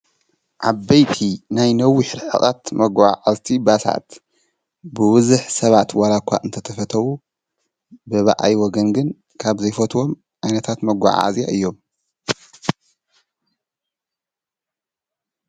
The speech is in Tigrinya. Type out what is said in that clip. ዓበይቲ ናይ ነዊሕ ርሕቀት መጓዓዓዝቲ ባሳት ብብዙሕ ሰባት ዋላኳ እንተተፈተው ብባኣይ ወገን ግን ካብዘይፈትዎም ዓይነታት መጓዓዝያ እዮም፡፡